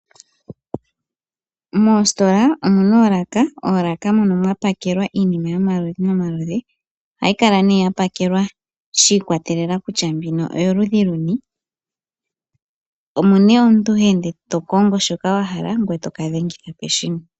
Moositola omuna oolaka, oolaka mono mwa pakelwa iinima yomaludhi nomaludhi. Ohayi kala nee ya pakelwa shi ikwatelela kutya mbino oyoludhi luni, omo nee omuntu ha ende to kongo shoka wa hala ngoye toka dhengitha peshina.